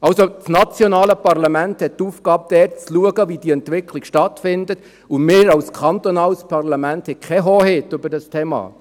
Also: Das nationale Parlament hat die Aufgabe, zu schauen, wie diese Entwicklung stattfindet, und wir als kantonales Parlament haben keine Hoheit über dieses Thema.